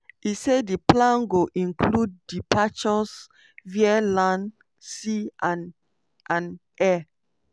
e say di plan go include departures via land sea and and air.